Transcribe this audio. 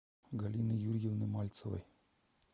галины юрьевны мальцевой